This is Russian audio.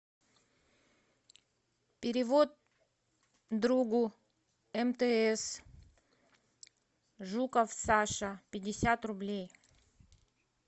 перевод другу мтс жуков саша пятьдесят рублей